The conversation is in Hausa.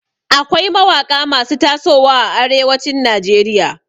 Akwai mawaƙa masu tasowa a arewacin Najeriya.